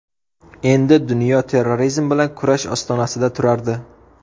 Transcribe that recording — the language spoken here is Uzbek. Endi dunyo terrorizm bilan kurash ostonasida turardi.